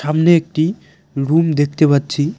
সামনে একটি রুম দেকতে পাচ্চি।